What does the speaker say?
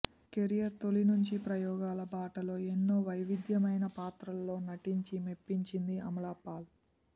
career తొలి నుంచి ప్రయోగాల బాటలో ఎన్నో వైవిధ్యమైన పాత్రల్లో నటించి మెప్పించింది అమలాపాల్